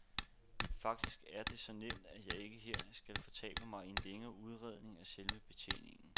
Faktisk er det så nemt, at jeg ikke her skal fortabe mig i en længere udredning af selve betjeningen.